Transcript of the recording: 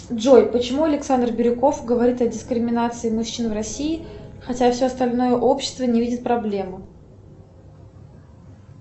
джой почему александр бирюков говорит о дискриминации мужчин в россии хотя все остальное общество не видит проблему